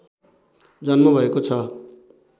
जन्म भएको छ